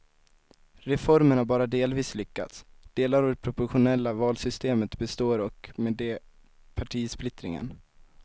Reformen har bara delvis lyckats, delar av det proportionella valsystemet består och med det partisplittringen.